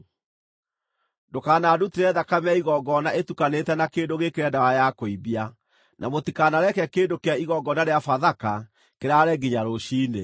“Ndũkanandutĩre thakame ya igongona ĩtukanĩte na kĩndũ gĩĩkĩre ndawa ya kũimbia, na mũtikanareke kĩndũ kĩa igongona rĩa Bathaka kĩraare nginya rũciinĩ.